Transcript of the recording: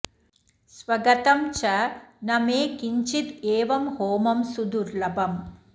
स्वगतं च न मे किञ्चिद् एवं होमं सुदुर्लभम्